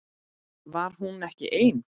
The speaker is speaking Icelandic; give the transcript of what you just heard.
Var hún ekki ein?